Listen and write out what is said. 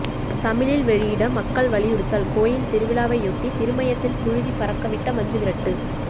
தமிழில் வெளியிட மக்கள் வலியுறுத்தல் கோயில் திருவிழாவையொட்டி திருமயத்தில் புழுதி பறக்கவிட்ட மஞ்சுவிரட்டு